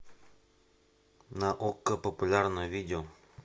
на окко популярное видео